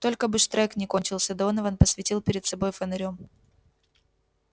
только бы штрек не кончился донован посветил перед собой фонарём